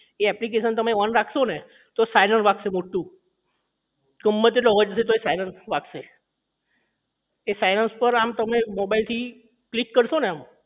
એ application તમે on રાખશો ને તો siren વાગશે મોટું ગમે તેટલો અવાજ હશે તોય siren તો વાગશે જ એ siren પર આમ તમે mobile થી click કરશો ને આમ